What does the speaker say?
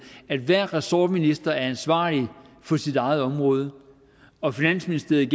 at hver ressortminister er ansvarlig for sit eget område og finansministeriet